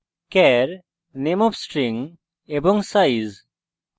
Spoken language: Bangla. char name of string এবং size